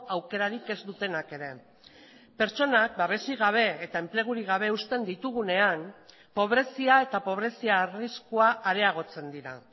aukerarik ez dutenak ere pertsonak babesik gabe eta enplegurik gabe uzten ditugunean pobrezia eta pobrezia arriskua areagotzen dira